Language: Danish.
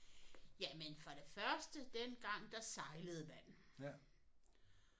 Jamen for det første dengang der sejlede man